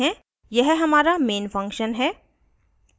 यह हमारा main function है